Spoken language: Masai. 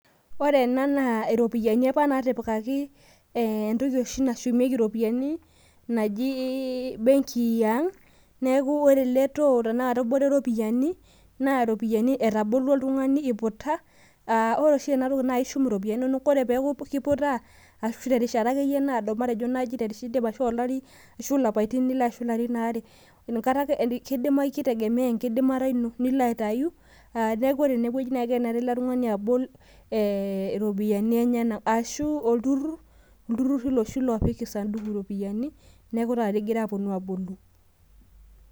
ore ena naa entoki oshi nashumieki iropiyiani naji bengi yang' ,ore eletoo naa kebore iropiyiani ore oshi enatoki naa ishumie iropiyiani ore pee eeku iputa terishata akeyie naado arashu ilapaitin imiet ashu aare , kitegemea engata ino , ashu olturur iloshi looshum iropiyiani neeku taata etuo aabolu.